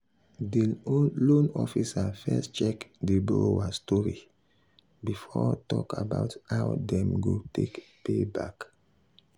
di loan officer first check di borrower story before talk about how how dem go take pay back.